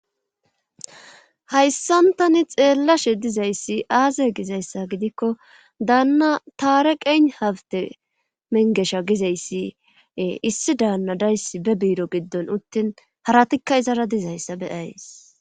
hayssan tani xeellashe dizayssi aaze gizayssa gidikko daanna taare qeen hafte mengesha gizayssiee issi daanna dayssi be biiro giddon uttin haratikka izara dizayssa be7ays.